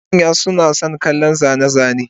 Wasu manya suna son kallon zane-zane,